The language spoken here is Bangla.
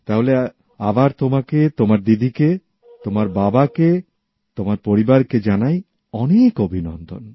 তাহলে আবার তোমাকে তোমার দিদি কে তোমার বাবাকে তোমার পরিবারকে জানাই অনেক অভিনন্দন